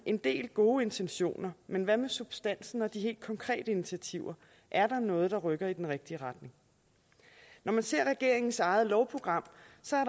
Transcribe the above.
en del gode intentioner men hvad med substansen og de helt konkrete initiativer er der noget der rykker i den rigtige retning når man ser regeringens eget lovprogram